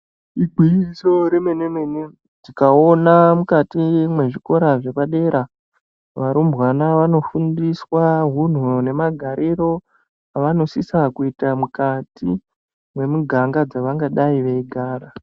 Igwinyiso remene-mene, tikaona mukati mezvikora zvepadera, varumbwana vanofundiswa hunhu nemagariro avanosisa kuita mukati memiganga dzavangadai veigara.